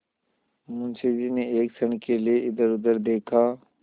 मुंशी जी ने एक क्षण के लिए इधरउधर देखा